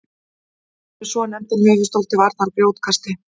hann er með svonefndan höfuðstól til varnar grjótkasti